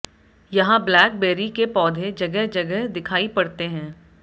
यहां blackberry के पौधे जगह जगह दिखाई पड़ते हैं